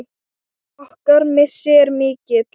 Okkar missir er mikill.